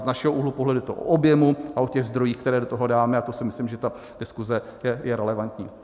Z našeho úhlu pohledu je to o objemu a o těch zdrojích, které do toho dáme, a to si myslím, že ta diskuse je relevantní.